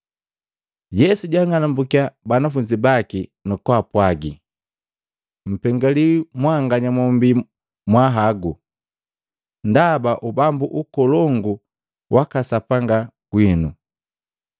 Yesu jaang'anumbukya banafunzi baki, nukupwaga, “Mpengaliwi mwanganya mombii mwahagu, ndaba Ubambu ukolongu waka Sapanga gwinu.